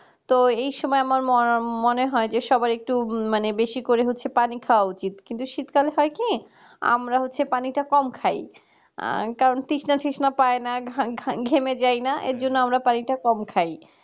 তো এই সময় আমার মনে হয় যে সবার একটু বেশি করে হচ্ছে পানি খাওয়া উচিত কিন্তু শীতকালে হয় কি আমরা হচ্ছে পানিটা কম খাই কারণ তৃষ্না সিসনা পায় না, ঘেমে যাই না এজন্য আমরা পানি তা কম খাই